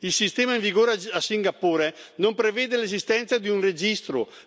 Il sistema in vigore a Singapore non prevede l'esistenza di un registro.